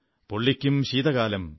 പൊള്ളിക്കും ശീതകാലം